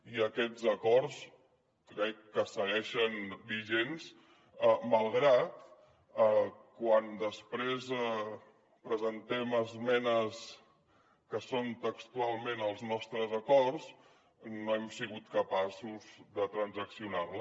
i aquests acords crec que segueixen vigents malgrat que quan després presentem esmenes que són textualment els nostres acords no hem sigut capaços de transaccionar les